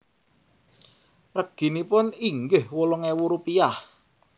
Reginipun inggih wolung ewu rupiah